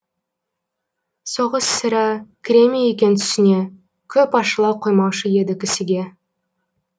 соғыс сірә кіре ме екен түсіне көп ашыла қоймаушы еді кісіге